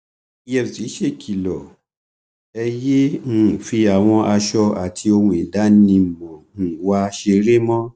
efcc ṣèkìlọ ẹ yéé um fi àwọn aṣọ àti ohun ìdánimọ um wa ṣeré mọ